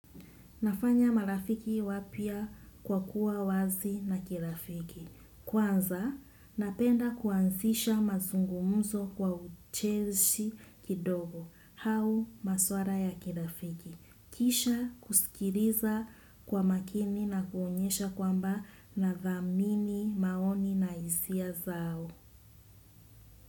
Nafanya marafiki wapya kwa kuwa wazi na kirafiki. Kwanza, napenda kuanzisha mazungumuzo kwa uchezi kidogo hau maswala ya kirafiki. Kisha kusikiliza kwa makini na kuonyesha kwamba nadhamini maoni na hisia zao.